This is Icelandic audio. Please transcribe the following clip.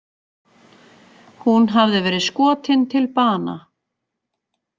Hún hafði verið skotin til bana